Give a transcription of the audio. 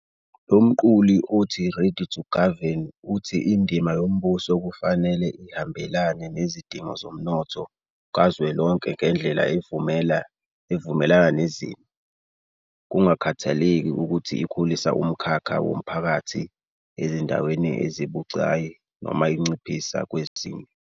Lo mqulu othi 'Ready to Govern' uthi indima yombuso "kufanele ihambelane nezidingo zomnotho kazwelonke ngendlela evumelana nezimo", kungakhathaleki ukuthi ikhulisa umkhakha womphakathi ezindaweni ezibucayi noma inciphisa kwezinye.